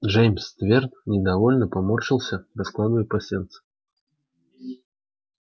джеймс твер недовольно поморщился раскладывая пасьянс